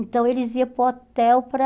Então eles iam para o hotel para...